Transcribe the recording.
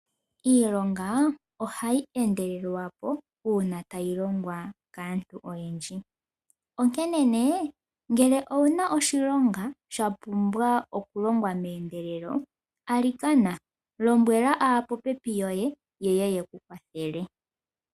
Iilonga oha yi endelelwa po uuna ta yi longwa kaantu oyendji, onkene nee ngele owuna oshilonga shapumbwa oku longwa mehendelelo alikana lombwela aapopepi yoye, ye ye yeku kwathele.